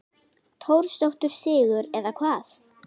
Torsóttur sigur eða hvað?